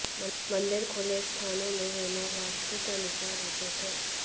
मंदिर खुले स्थानों में होना वास्तु के अनुसार उचित है